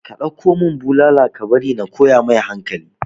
ka ɗauko mun bulala ka bari na koya mai hankali